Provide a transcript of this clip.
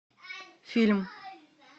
фильм